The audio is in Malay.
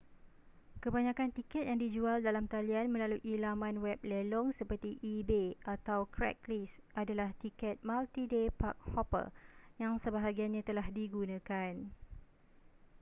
kebanyakan tiket yang dijual dalam talian melalui laman web lelong seperti ebay atau craigslist adalah tiket multi-day park-hopper yang sebahagiannya telah digunakan